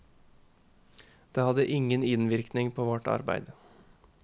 Det hadde ingen innvirkning på vårt arbeid.